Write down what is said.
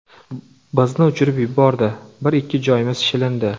Bizni uchirib yubordi, bir-ikki joyimiz shilindi.